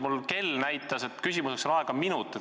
Mu kell näitas, et küsimiseks on aega üks minut.